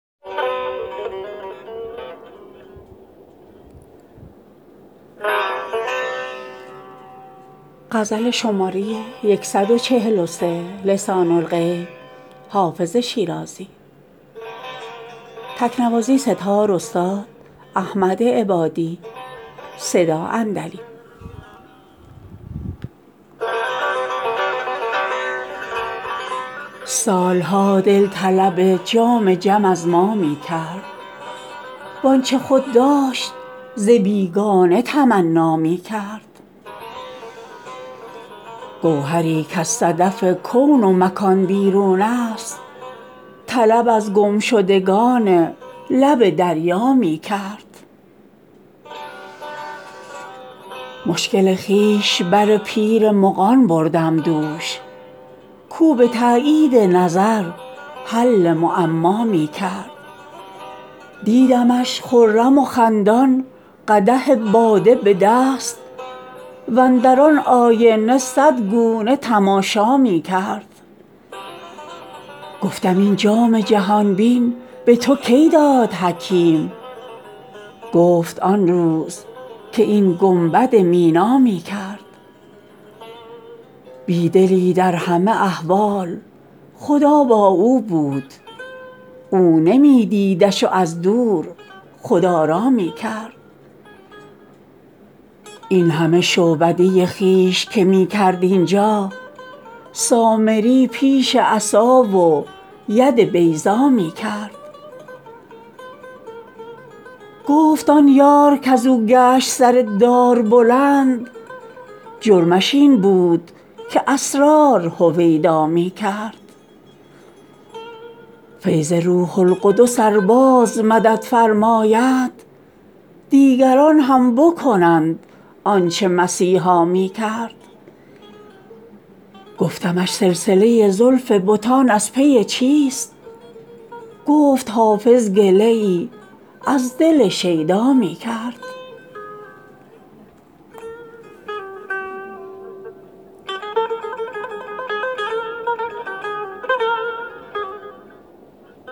سال ها دل طلب جام جم از ما می کرد وآنچه خود داشت ز بیگانه تمنا می کرد گوهری کز صدف کون و مکان بیرون است طلب از گمشدگان لب دریا می کرد مشکل خویش بر پیر مغان بردم دوش کاو به تأیید نظر حل معما می کرد دیدمش خرم و خندان قدح باده به دست واندر آن آینه صد گونه تماشا می کرد گفتم این جام جهان بین به تو کی داد حکیم گفت آن روز که این گنبد مینا می کرد بی دلی در همه احوال خدا با او بود او نمی دیدش و از دور خدارا می کرد این همه شعبده خویش که می کرد اینجا سامری پیش عصا و ید بیضا می کرد گفت آن یار کز او گشت سر دار بلند جرمش این بود که اسرار هویدا می کرد فیض روح القدس ار باز مدد فرماید دیگران هم بکنند آن چه مسیحا می کرد گفتمش سلسله زلف بتان از پی چیست گفت حافظ گله ای از دل شیدا می کرد